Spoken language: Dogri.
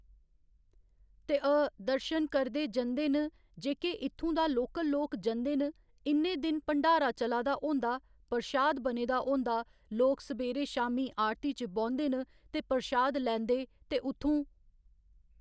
ते अऽ दर्शन करदे जंदे न जेह्‌के इत्थूं दा लोकल लोक जंदे न इन्ने दिन भण्डारा चला दा होंदा परशाद बने दा होंदा लोक सबेरे शामी आरती च बौंह्दे न ते परशाद लैंदे ते उत्थूं